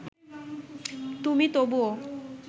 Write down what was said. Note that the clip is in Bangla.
তুমি তবুও